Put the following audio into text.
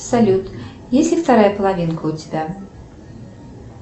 салют есть ли вторая половинка у тебя